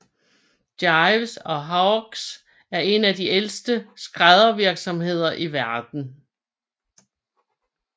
Gieves and Hawkes er en af de ældste skræddervirksomheder i verden